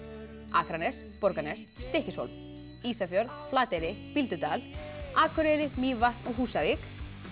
Akranes Borgarnes Stykkishólm Ísafjörð Flateyri Bíldudal Akureyri Mývatn og Húsavík